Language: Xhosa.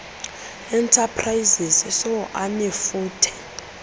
enterprises soe anefuthe